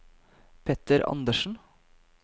Petter Anderssen